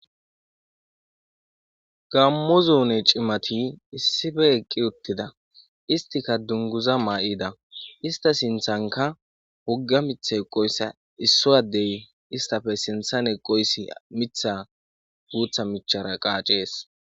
gammo zoone cimati issife eqqi uttida istika dunguza maa7ida ista sinthanka wugga mitha eqoyssa isso adey istafe sinthan eqoyssi mitha guutha michara qaacees